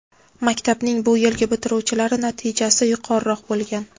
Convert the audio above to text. maktabning bu yilgi bitiruvchilari natijasi yuqoriroq bo‘lgan.